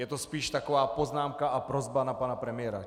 Je to spíš taková poznámka a prosba na pana premiéra.